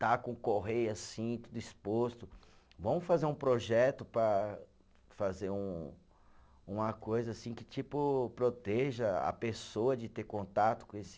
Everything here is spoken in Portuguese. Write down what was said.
Está com correia assim, tudo exposto, vamos fazer um projeto para fazer um, uma coisa assim que tipo, proteja a pessoa de ter contato com esse